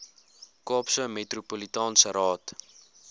kaapse metropolitaanse raad